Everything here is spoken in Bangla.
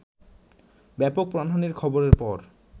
ব্যাপক প্রাণহানির খবরের পর